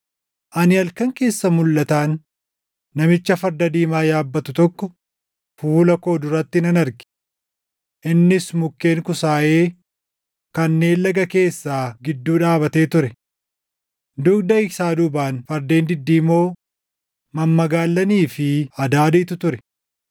Ani halkan keessa mulʼataan namicha farda diimaa yaabbatu tokko fuula koo duratti nan arge! Innis mukkeen kusaayee kanneen laga keessaa gidduu dhaabatee ture. Dugda isaa duubaan fardeen diddiimoo, mammagaallanii fi adaadiitu ture.